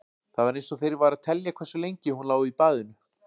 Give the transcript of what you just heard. Það var eins og þeir væru að telja hversu lengi hún lá í baðinu.